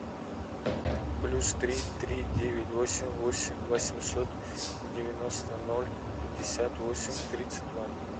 плюс три три девять восемь восемьсот девяносто ноль пятьдесят восемь тридцать два